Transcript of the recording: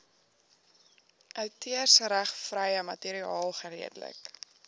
outeursregvrye materiaal geredelik